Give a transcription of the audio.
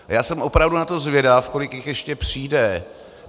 Já jsem opravdu na to zvědav, kolik jich ještě přijde.